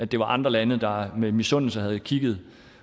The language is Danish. det var andre lande der med misundelse havde kigget